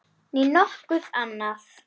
Né nokkuð annað.